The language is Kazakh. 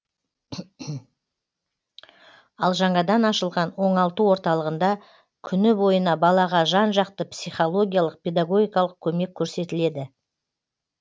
ал жаңадан ашылған оңалту орталығында күні бойына балаға жан жақты психологиялық педагогикалық көмек көрсетіледі